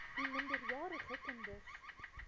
u minderjarige kinders